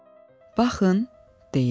Baxın, deyirdi.